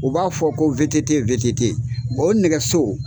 U b'a fɔ ko VTT VTT o nɛgɛso